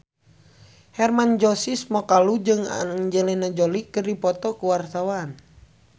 Hermann Josis Mokalu jeung Angelina Jolie keur dipoto ku wartawan